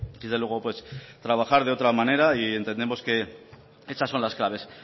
desde luego pues trabajar de otra manera y entendemos que esas son las claves